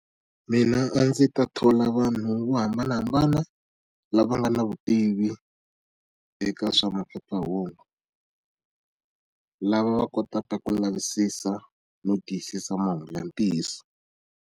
Mina a ndzi ta thola vanhu vo hambanahambana, lava nga na vutivi eka swa maphephahungu. Lava va kotaka ku lavisisa no tiyisisa mahungu ya ntiyiso.